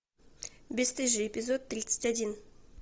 бесстыжие эпизод тридцать один